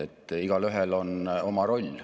Ent esmalt tuleb rohepööret näha kui võimalust, mitte kulu.